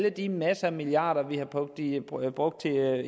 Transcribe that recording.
at de masser af milliarder kroner vi har brugt i brugt